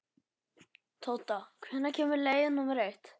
Tóta, hvenær kemur leið númer eitt?